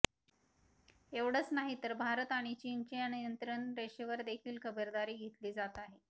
एवढचं नाही तर भारत आणि चीनच्या नियंत्रण रेषेवर देखील खबरदारी घेतली जात आहे